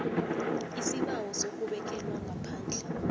isibawo sokubekelwa ngaphandle